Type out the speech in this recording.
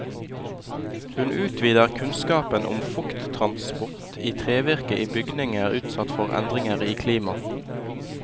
Hun utvider kunnskapen om fukttransport i trevirke i bygninger utsatt for endringer i klima.